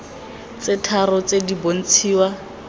tse tharo tse di bontshiwa